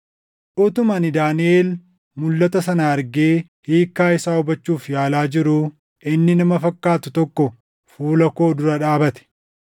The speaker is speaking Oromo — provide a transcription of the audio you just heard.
Utuma ani Daaniʼel mulʼata sana argee hiikkaa isaa hubachuuf yaalaa jiruu inni nama fakkaatu tokko fuula koo dura dhaabate.